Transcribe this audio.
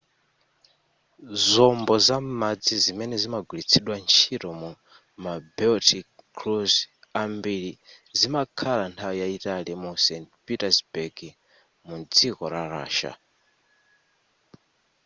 zombo za m'madzi zimene zimagwiritsidwa ntchito mu ma baltic cruise ambiri zimakhala nthawi yayitali mu st petersburg mudziko la russia